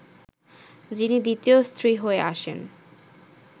যিনি দ্বিতীয় স্ত্রী হয়ে আসেন